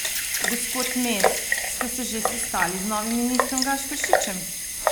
Gospod Mes, ste se že sestali z novim ministrom Gašperšičem?